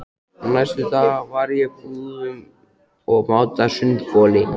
Næstu daga var ég í búðum að máta sundboli.